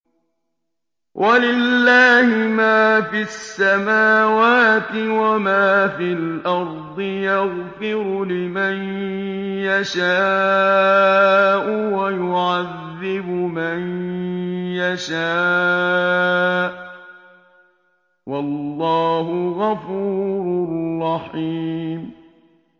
وَلِلَّهِ مَا فِي السَّمَاوَاتِ وَمَا فِي الْأَرْضِ ۚ يَغْفِرُ لِمَن يَشَاءُ وَيُعَذِّبُ مَن يَشَاءُ ۚ وَاللَّهُ غَفُورٌ رَّحِيمٌ